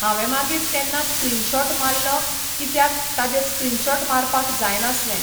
हांवें मागीर तेन्ना स्क्रीनशॉट माल्लो कित्याक ताजेर स्क्रीनशॉट मारपाक जाय नासलें.